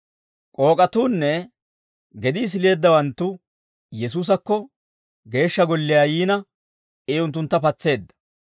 K'ook'atuunne gedii sileeddawanttu Yesuusakko Geeshsha Golliyaa yiina, I unttuntta patseedda.